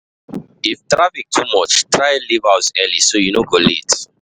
If traffic too much, try leave house early so you no go late.